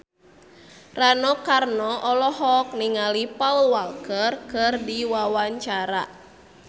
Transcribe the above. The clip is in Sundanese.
Rano Karno olohok ningali Paul Walker keur diwawancara